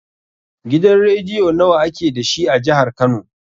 Gidan rediyo nawa ake dashi a jihar kano?